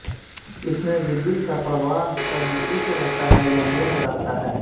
इसमें विद्युत का प्रवाह कभी उच्च रहता है या निम्न रहता है